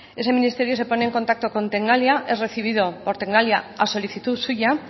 ese ministerio se pone en contacto con tecnalia es recibido por tecnalia a solicitud suya